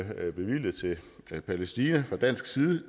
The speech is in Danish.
bevilget til palæstina fra dansk side